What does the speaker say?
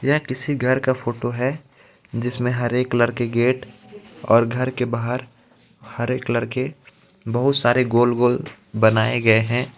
ये किसी घर का फोटो हे जिसमे हरे कलर के गेट और घर के बाहर हरे कलर के बोहोत सारे गोल गोल बनाये गए हे.